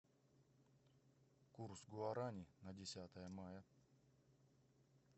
курс гуарани на десятое мая